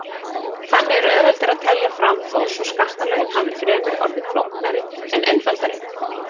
Þannig er auðveldara að telja fram þó svo skattalögin hafi fremur orðið flóknari en einfaldari.